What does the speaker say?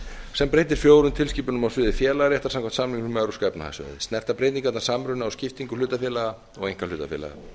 sem breytir fjórum tilskipunum á sviði félagaréttar samkvæmt samningnum um evrópska efnahagssvæðið snerta breytingarnar samruna á skiptingu hlutafélaga og einkahlutafélaga